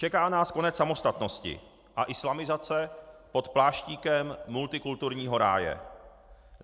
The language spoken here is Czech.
Čeká nás konec samostatnosti a islamizace pod pláštíkem multikulturního ráje.